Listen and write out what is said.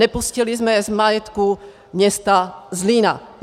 Nepustili jsme je z majetku města Zlína.